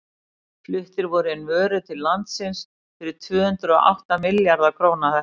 fluttar voru inn vörur til landsins fyrir tvö hundruð og átta milljarða króna þetta ár